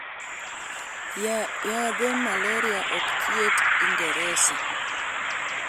Yadhe Malaria ok thieth ingereza